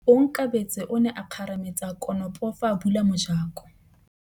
Onkabetse o ne a kgarametsa konopô fa a bula mojakô.